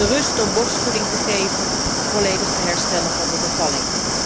De rust om borstvoeding te geven en volledig te herstellen van de bevalling.